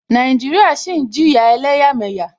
Nàìjíríà ṣì ń jìjà ẹlẹ́yàmẹyà.